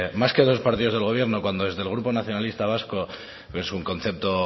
más que dos partidos del gobierno cuando el grupo nacionalista vasco es un concepto